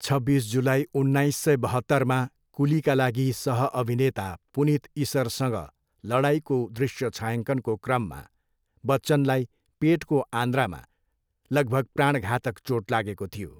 छब्बिस जुलाई, उन्नाइस सय बहत्तरमा, कुलीका लागि सह अभिनेता पुनीत इस्सरसँग लडाइँको दृश्य छायाङ्कनको क्रममा, बच्चनलाई पेटको आन्द्रामा लगभग प्राणघातक चोट लागेको थियो।